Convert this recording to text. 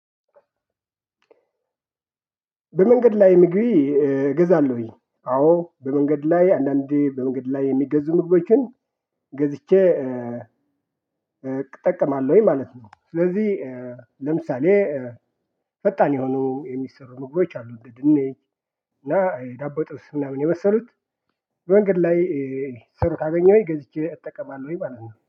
በመንገድ ላይ ምግብ እገዛለሁኝ አዎ በመንገድ ላይ አንዳንዴ በእንግዲህ ላይ የሚገዙ ምግቦችን ገዝቼ። እጠቀማለሁኝ ማለት ነው። ስለዚህ ለምሳሌ ፈጣን የሆኑ የሚሰሩ ምግቦች አሉ እንደ ድንች እና ዳቦ ጥብስ ምናምን የመሰሉት። መንገድ ላይ ሲሰሩ ካገኘሁኝ ገዝቼ እጠቀማለሁኝ ማለት ነው